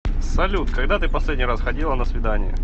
салют когда ты последний раз ходила на свидание